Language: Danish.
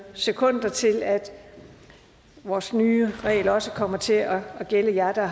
sekunder til at vores nye regler også kommer til at gælde jer der